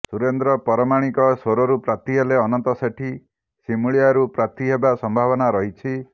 ସୁରେନ୍ଦ୍ର ପରମାଣିକ ସୋରରୁ ପ୍ରାର୍ଥୀ ହେଲେ ଅନନ୍ତ ସେଠୀ ସିମୁଳିଆରୁ ପ୍ରାର୍ଥୀ ହେବା ସମ୍ଭାବନା ରହିଛି